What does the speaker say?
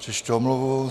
Přečtu omluvu.